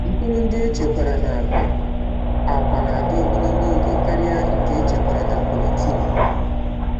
Mkpụrụ ndị echekwara na akpa akwa na-adị ogologo oge karịa nke echekwara na polythene.